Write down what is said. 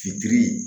Fitiri